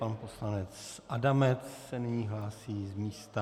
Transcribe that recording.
Pan poslanec Adamec se nyní hlásí z místa.